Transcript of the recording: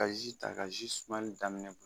Ka ji ta ka ji sumali daminɛ